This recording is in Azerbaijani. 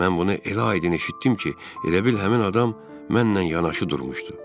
Mən bunu elə aydın eşitdim ki, elə bil həmin adam mənlə yanaşı durmuşdu.